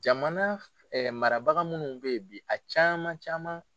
Jamana marabaga minnu bɛ yen bi a caman caman.